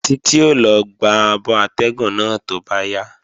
Títí ó lọ gba abọ atẹ́gùn náà tó bá yá